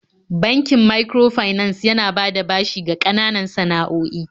Bankin microfinance yana bada bashi ga ƙananan san'a'oi.